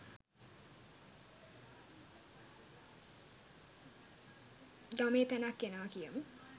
ගමේ තැනක් එනවා කියමු